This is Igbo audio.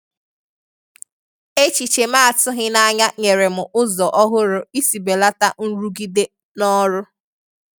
Echiche ma a tụghi n’anya nyere m ụzọ ọhụ̀rụ isi belata nrụgide n'ọrụ